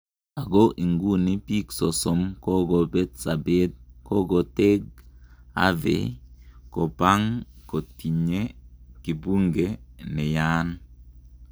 Oko iguni pik sosom kokokopet sapet koketeng Harvey kopang kotinye kibunge nayaan